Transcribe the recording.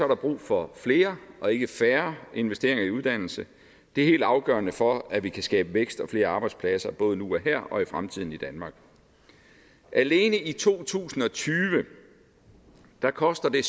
der brug for flere og ikke færre investeringer i uddannelse det er helt afgørende for at vi kan skabe vækst og flere arbejdspladser både nu og her og i fremtiden i danmark alene i to tusind og tyve koster det